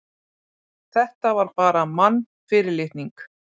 Þetta var bara mannfyrirlitning.